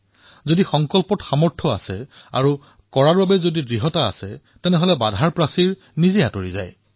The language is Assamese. যদি সংকল্পত সামৰ্থ আছে উৎসাহে আকাশ স্পৰ্শ কৰিছে তেন্তে বাধা স্বয়ং আঁতৰি যায়